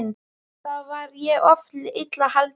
Þá var ég oft illa haldinn.